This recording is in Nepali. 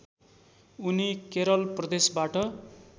उनि केरल प्रदेशबाट